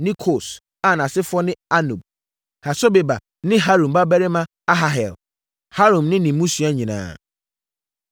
ne Kos a nʼasefoɔ ne Anub, Hasobeba ne Harum babarima Aharhel, Harum ne ne mmusua nyinaa.